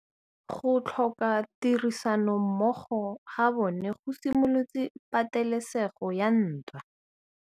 Go tlhoka tirsanommogo ga bone go simolotse patêlêsêgô ya ntwa.